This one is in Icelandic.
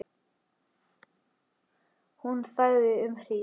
Hún þagði um hríð.